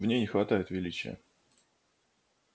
в ней не хватает величия